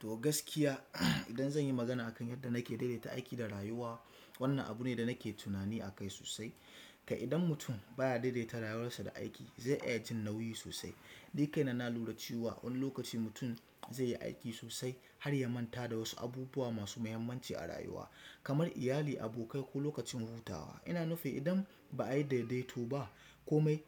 To gaskiya, idan zan yi magana akan yadda nake daidaita aiki da rayuwa, wannan abu ne da nake tunani akai sosai. Kai idan mutum baya daidaita rayuwarsa da aiki zai iya jin nauyi sosai. Ni kaina na lura cewa wani lokaci mutum zai yi aiki sosai har ya manta da wasu abubuwa masu muhimmanci a rayuwa kamar iyali, abokai ko lokacin hutawa. Ina nufin idan ba'ayi daidaito ba komai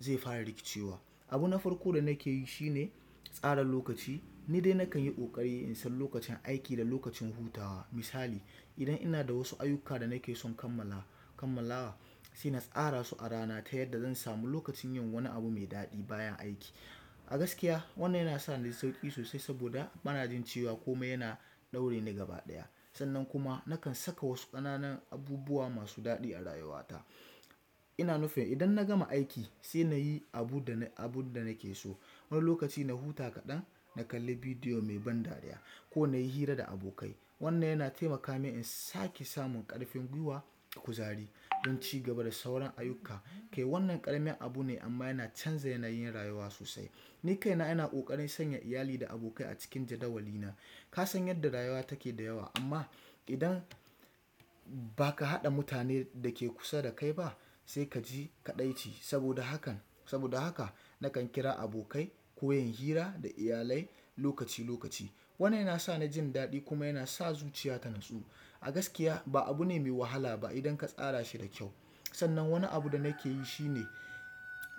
zai fara rikicewa. Abu na farko da nake yi shine tsara lokaci. Ni dai nakan yi ƙoƙari in san lokacin aiki da lokacin hutawa. Misali idan ina da wasu ayyukka da nake son kammala, kammalawa sai na tsarasu a rana ta yadda zan samu lokacin yin wani abu mai daɗi bayan aiki. A gaskiya wannan yana sa naji sauƙi sosai saboda bana jin cewa komai yana ɗaure ni gaba ɗaya. Sannan kuma nakan saka wasu ƙananan abubuwa masu daɗi a rayuwata. Ina nufin idan na gama aiki sai nayi abunda abunda nake so. Wani lokaci na huta kaɗan, na kalli video mai ban dariya ko nayi hira da abokai. Wannan yana taimaka min in sake samun ƙarfin gwiwa da kuzari, don cigaba da sauran ayyukka, kai wannan ƙaramin abu ne amma yana canza yanayin rayuwa sosai. Ni kaina ina ƙoƙarin sanya iyali da abokai a cikin jadawali na. Ka san yadda rayuwa take da yawa amma idan baka haɗa mutanen da ke kusa da kai ba sai ka ji kaɗaici. Saboda hakan, saboda haka nakan kira abokai ko yin hira da iyalai lokaci lokaci. Wannan yana sani jin daɗi kuma yana sa zuciya ta natsu. A gaskiya ba abu ne mai wahala ba idan ka tsara shi da kyau. Sannan wani abu da nakeyi shine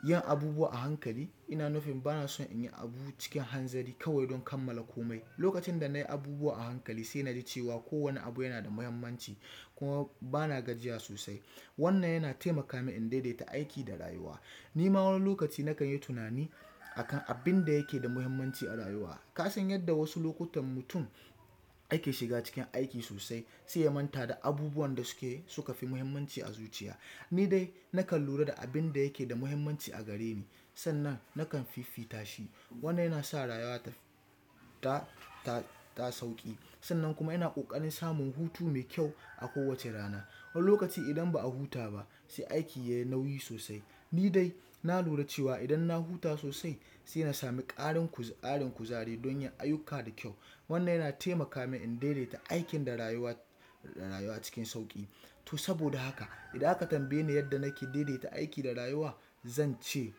yin abubuwa a hankali. Ina nufin bana so nayi abu cikin hanzari kawai don kammala komai. Lokacin da na yi abubuwa a hankali sai naji cewa kowane abu yanada mahimmanci kuma bana gajiya sosai. Wannan yana taimaka min in dai-daita aiki da rayuwa. Nima wani lokaci nakan yi tunani akan abin da yake da muhimmanci a rayuwa. Kasan yadda wasu lokutan mutum yake shiga cikin aiki sosai sai ya manta da abubuwan da suke, suka fi mahimmanci a zuciya. Ni dai nakan lura da abin da yake da muhimmanci a gareni sannan nakan fifita shi. Wannan yana sa rayuwa taf, ta, ta sauƙi. Sannan kuma ina ƙoƙarin samun hutu mai kyau a kowace rana. Wani lokaci idan ba a huta ba sai aiki yayi nauyi sosai. Ni dai na lura cewa idan na huta sosai sai na sami ƙarin kuz ƙarin kuzari don yin ayyukka da kyau. Wannan yana taimaka min in daidaita aikin da rayuwa, rayuwa cikin sauƙi. To saboda haka idan aka tambaye ni yadda nake daidaita aiki da rayuwa zance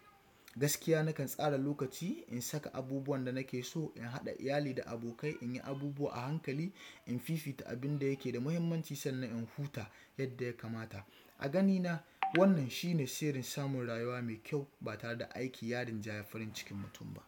gaskiya nakan tsara lokaci in saka abubuwan da nake so, in haɗa iyali da abokai, in yi abubuwa a hankali, in fifita abin da yake da muhimmanci sannan in huta yadda ya kamata. A ganina, wannan shine sirrin samun rayuwa mai kyau ba tare da aiki ya rinjayi farin cikin mutum ba.